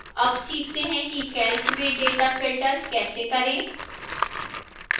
अब सीखते हैं कि calc में data filter कैसे करें